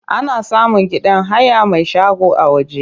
Ana samun gidan haya mai shago a waje.